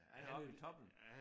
Oppe i toppen